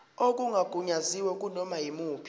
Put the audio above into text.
okungagunyaziwe kunoma yimuphi